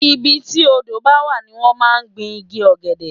ibi tí odó bá wà ní wọ́n máa ń gbin igi ọ̀gẹ̀dẹ̀